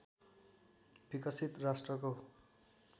विकसित राष्ट्रको